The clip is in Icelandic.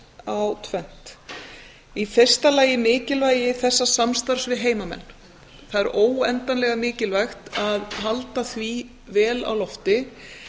á tvennt í fyrsta lagi mikilvægi þessa samstarfs við heimamenn það er óendanlega mikilvægt að halda því vel á lofti